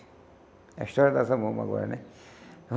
É a história dessa bomba agora, né?